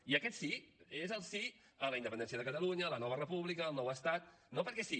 i aquest sí és el sí a la independència de catalunya a la nova república al nou estat no perquè sí